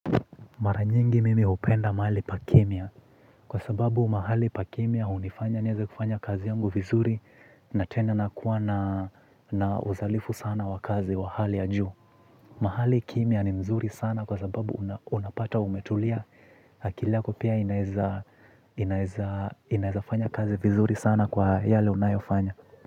Maranyingi mimi upenda mahali pa kimya kwa sababu mahali pakimya hunifanya niweze kufanya kazi yangu vizuri na tena na kuwa na uzalifu sana wakazi wa hali ya juu. Mahali kimya ni nzuri sana kwa sababu unapata umetulia akili yako pia inaweza inaweza inaweza fanya kazi vizuri sana kwa yale unayofanya.